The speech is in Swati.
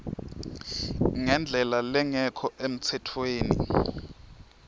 ngendlela lengekho emtsetfweni